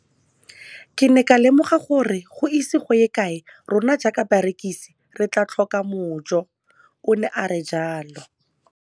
Ke ne ka lemoga gore go ise go ye kae rona jaaka barekise re tla tlhoka mojo, o ne a re jalo.